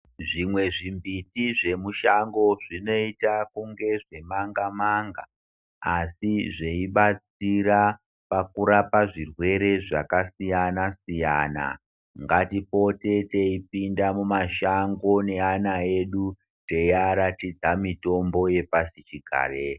Zvimwe zvimbiti zvemushango zvinoita kungezvemanga manga asi zveibatsira pakurapa zvirwere zvakasiyana siyana. Ngatipote teipinda mumashango neana edu teiaratidza mitombo yepasichigare.